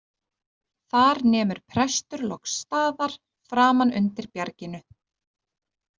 Þar nemur prestur loks staðar framan undir bjarginu.